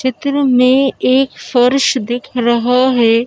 चित्र में एक फोरूस दिख रहा है।